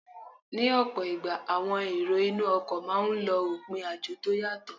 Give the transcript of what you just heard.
Ní ọ̀pọ̀ ìgbà, àwọn èrò inú ọkọ̀ máà ń lọ òpin àjò tó yàtọ